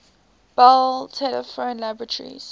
bell telephone laboratories